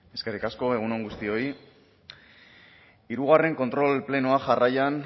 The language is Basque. eskerrik asko egun on guztioi hirugarren kontrol plenoa jarraian